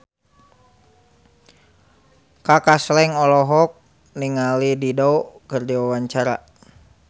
Kaka Slank olohok ningali Dido keur diwawancara